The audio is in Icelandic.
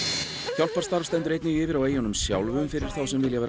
hjálparstarf stendur einnig yfir á eyjunum sjálfum fyrir þá sem vilja vera